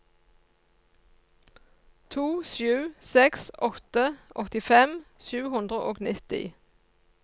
to sju seks åtte åttifem sju hundre og nitti